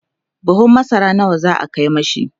buhun masara nawa za'a Kai mishi?